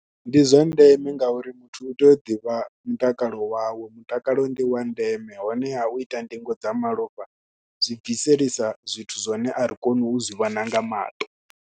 Ndi zwa ndeme ngauri muthu u tea u ḓivha mutakalo wawe, mutakalo ndi wa ndeme honeha u ita ndingo dza malofha zwi bviselisa zwithu zwine a ri koni u zwi vhona nga maṱo.